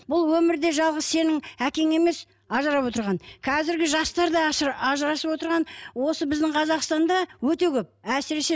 бұл өмірде жалғыз сенің әкең емес ажырап отырған қазіргі жастар да ажырасып отырған осы біздің қазақстанда өте көп әсіресе